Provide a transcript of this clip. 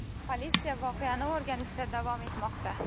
Politsiya voqeani o‘rganishda davom etmoqda.